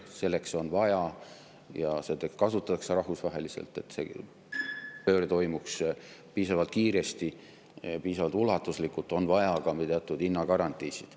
Selleks on vaja – ja kasutatakse rahvusvaheliselt, et see pööre toimuks piisavalt kiiresti, piisavalt ulatuslikult – ka teatud hinnagarantiisid.